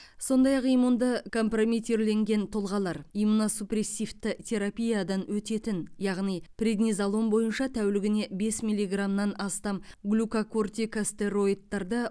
сондай ақ иммунды компрометирленген тұлғалар иммуносупрессивті терапиядан өтетін яғни преднизолон бойынша тәулігіне бес милиграммнан астам глюкокортикостероидтарды